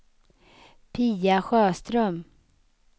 Pia Sjöström